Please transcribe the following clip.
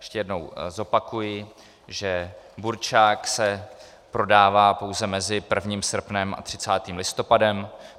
Ještě jednou zopakuji, že burčák se prodává pouze mezi 1. srpnem a 30. listopadem.